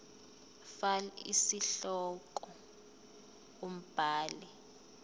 fal isihloko umbhali